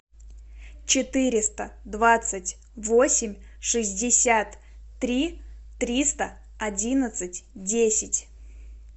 четыреста двадцать восемь шестьдесят три триста одиннадцать десять